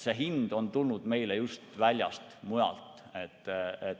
See hind on tulnud meile just väljast, mujalt.